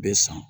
Bɛ san